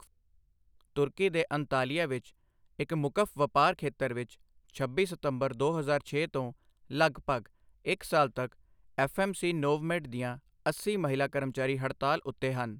ਤੁਰਕੀ ਦੇ ਅੰਤਾਲਿਆ ਵਿੱਚ ਇੱਕ ਮੁਕਫ਼ ਵਪਾਰ ਖੇਤਰ ਵਿੱਚ, ਛੱਬੀ ਸਤੰਬਰ, ਦੋ ਹਜ਼ਾਰ ਛੇ ਤੋਂ ਲਗਭਗ ਇੱਕ ਸਾਲ ਤੱਕ ਐੱਫ. ਐੱਮ. ਸੀ. ਨੋਵਮੇਡ ਦੀਆਂ ਅੱਸੀ ਮਹਿਲਾ ਕਰਮਚਾਰੀ ਹੜਤਾਲ ਉੱਤੇ ਹਨ।